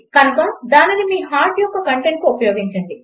కనుక దానిని మీ హార్ట్ యొక్క కంటెంట్కు ఉపయోగించండి